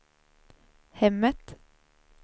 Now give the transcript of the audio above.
hemmet